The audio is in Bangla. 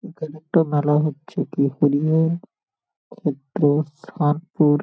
এইখানে একটা মেলা হচ্ছে ।